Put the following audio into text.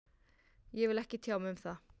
Ég vil ekki tjá mig um það